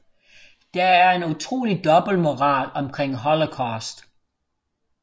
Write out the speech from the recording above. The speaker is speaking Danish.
Der er en utrolig dobbeltmoral omkring Holocaust